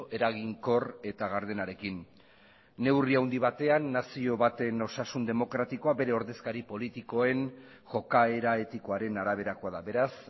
eraginkor eta gardenarekin neurri handi batean nazio baten osasun demokratikoa bere ordezkari politikoen jokaera etikoaren araberakoa da beraz